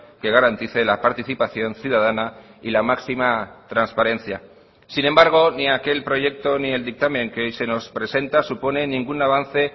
que garantice la participación ciudadana y la máxima transparencia sin embargo ni aquel proyecto ni el dictamen que hoy se nos presenta supone ningún avance